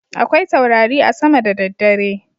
Akwai taurari a sama da daddare.